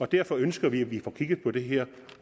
derfor ønsker vi at vi får kigget på det her